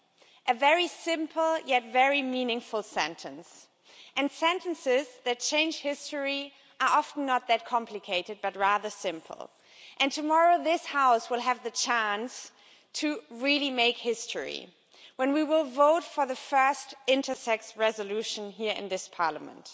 That is a very simple yet very meaningful sentence and sentences that change history are often not complicated but rather simple. Tomorrow this House will have the chance to make history when we vote for the first intersex resolution here in this Parliament.